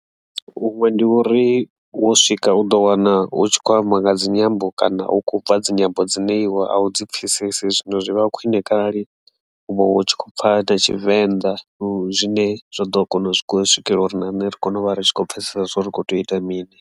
Huṅwe ndi uri wo swika u ḓo wana hu tshi khou amba nga dzinyambo kana hu khou bva dzinyambo dzine iwe a u dzi pfhesesi zwino zwi vha khwine kharali u vha u tshi khou pfha na Tshivenḓa zwine zwa ḓo kona u swikelela uri na nṋe ri kone u vha ri tshi khou pfhesesea zwori kho tea u ita mini.